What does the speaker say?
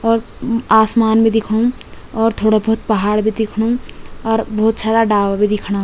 और आसमान भी दिखणु और थोड़ा भोत पहाड़ भी दिखणु और भोत सारा डाला भी दिखणा।